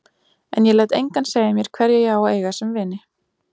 En ég læt engan segja mér hverja ég á að eiga sem vini.